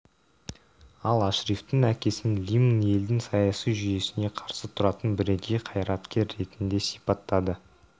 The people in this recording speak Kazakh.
ал ашрифтің әкесін лимн елдің саяси жүйесіне қарсы тұратын бірегей қайраткер ретінде сипаттады